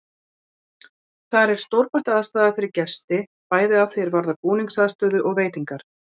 Þar er stórbætt aðstaða fyrir gesti, bæði að því er varðar búningsaðstöðu og veitingar.